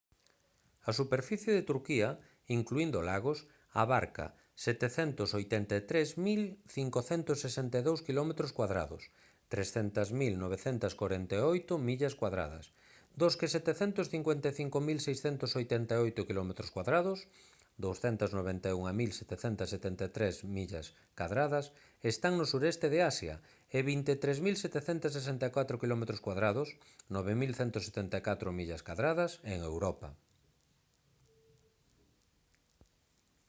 a superficie de turquía incluíndo lagos abarca 783 562 km2 300 948 sq mi dos que 755 688 km2 291,773 sq mi están no suroeste de asia e 23 764 km2 9,174 sq mi en europa